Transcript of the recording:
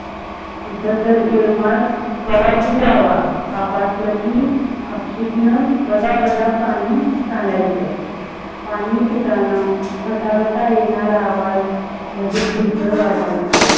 तीथ तर ये केव्हा भी जावा हा पासल की हपसित बंडा बंडा पानी सांडायच. पाणी पितना गठ गठ येनारा आवाज मंजे ढेकर वाट्याच.